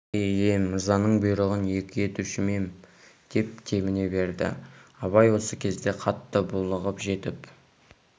е-е мырзаның бұйрығын екі етуші ме ем деп тебіне берді абай осы кезде қатты булығып жетіп